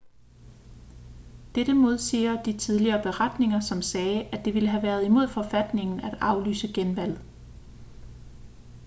dette modsiger de tidligere beretninger som sagde at det ville have været imod forfatningen at aflyse genvalget